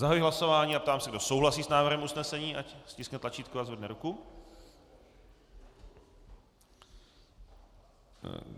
Zahajuji hlasování a ptám se, kdo souhlasí s návrhem usnesení, ať stiskne tlačítko a zvedne ruku.